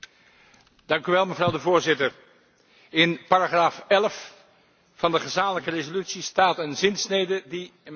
Voorzitter, in paragraaf 11 van de gezamenlijke resolutie staat een zinsnede die mij diep heeft geraakt.